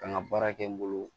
Kan ka baara kɛ n bolo